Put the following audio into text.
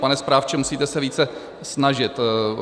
"Pane správče, musíte se více snažit."